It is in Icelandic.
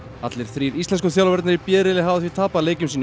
allir þrír íslensku þjálfararnir í b riðli hafa því tapað leikjum sínum